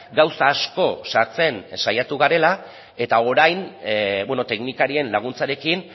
gauza asko sartzen saiatu garela eta orain teknikarien laguntzarekin